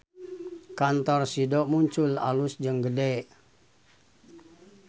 Kantor Sido Muncul alus jeung gede